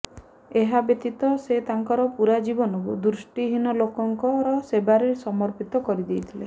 ଏହାବ୍ୟତୀତ ସେ ତାଙ୍କର ପୂରା ଜୀବନକୁ ଦୃଷ୍ଟିହୀନ ଲୋକଙ୍କର ସେବାରେ ସମର୍ପିତ କରିଦେଇଥିଲେ